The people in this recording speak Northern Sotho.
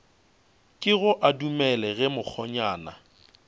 kego a dumele ge mokgonyana